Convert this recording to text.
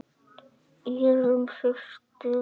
Írunn systir.